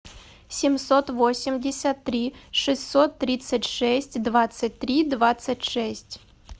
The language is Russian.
семьсот восемьдесят три шестьсот тридцать шесть двадцать три двадцать шесть